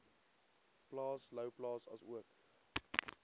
plaas louwplaas asook